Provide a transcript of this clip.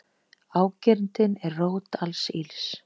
Ágirndin er rót alls ills.